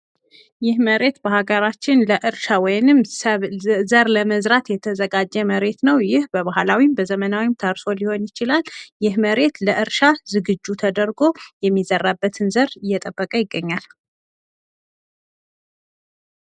ይህ መሬት በሀገራችን ለእርሻ ወይም ዘር ለመዝራት የተዘጋጀ መሬት ነው ። ይህ በባህላዊም በዘመናዊም ታርሶ ሊሆን ይችላል ። ይህ መሬት ለእርሻ ዝግጁ ተደርጎ የሚዘራበትን ዘር እየጠበቀ ይገኛል ።